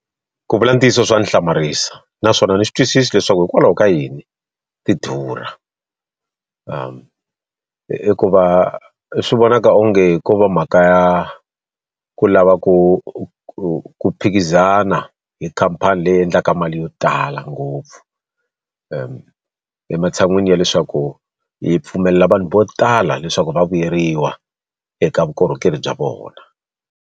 Ku vula ntiyiso swa ni hlamarisa, naswona ni swi twisisi leswaku hikwalaho ka yini ti durha. I ku va swi vonaka onge ko va mhaka ya ku lava ku ku ku phikizana hi khamphani leyi endlaka mali yo tala ngopfu. Ematshan'wini ya leswaku hi pfumelela vanhu vo tala leswaku va vuyeriwa eka vukorhokeri bya vona.